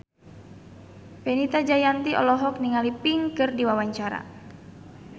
Fenita Jayanti olohok ningali Pink keur diwawancara